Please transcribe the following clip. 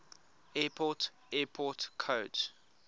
airport airport codes